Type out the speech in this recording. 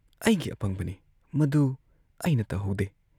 ꯑꯩꯒꯤ ꯑꯄꯪꯕꯅꯤ ꯃꯗꯨ ꯑꯩꯅ ꯇꯧꯍꯧꯗꯦ ꯫